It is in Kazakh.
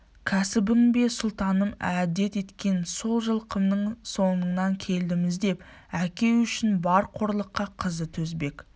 кәсібің бе сұлтаным әдет еткен сол жылқымның соңынан келдім іздеп әке үшін бар қорлыққа қызы төзбек